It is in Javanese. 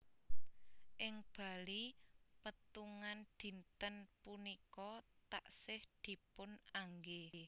Ing Bali pétungan dinten punika taksih dipun anggé